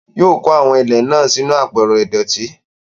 Yóò kó àwọn ilẹ̀ náà sínú àpẹrẹ ìdọ̀tí.